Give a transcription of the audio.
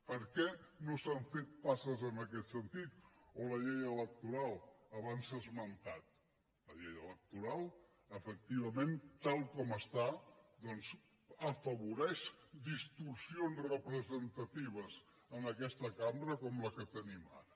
per què no s’han fet passes en aquest sentit o la llei electoral abans s’ha esmentat la llei electoral efectivament tal com està doncs afavoreix distorsions representatives en aquesta cambra com la que tenim ara